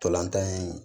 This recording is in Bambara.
Ntolan tan in